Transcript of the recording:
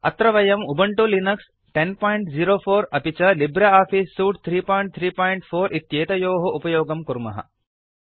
अत्र वयम् Ubuntu Linux 1004 अपि च लिब्रे आफीस् सूट् 334 इत्येतयोः उपयोगं कुर्मः